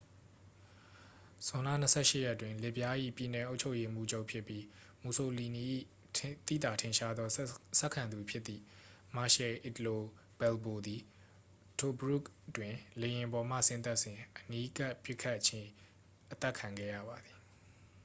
ဇွန်လ 28 ရက်တွင် လစ်ဗျား၏ ပြည်နယ် အုပ်ချုပ်ရေးမှူးချုပ် ဖြစ်ပြီး မူဆိုလီနီ၏ သိသထင်ရှားသောဆက်ခံသူဖြစ်သည့် marshal italo balbo သည် tobruk တွင် လေယာဉ်ပေါ်မှဆင်းသက်စဉ် အနီးကပ်ပစ်ခတ်ပြီး အသတ်ခံခဲ့ရပါသည်